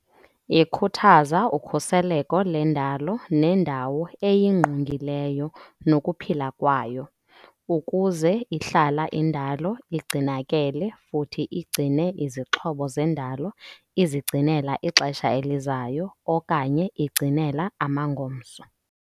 Ikhuthaza ukhuseleko lendalo nendawo eyingqungileyo nokuphila kwayo, ukuze ihlala indalo ingcinakele futhi ingcine izixhobo zendalo izingcinela ixesha elizayo okanye ingcinela amangomso.